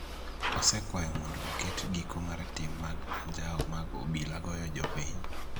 osekwayo mondo oket giko mar tim mag ajao mag obila goyo jopiny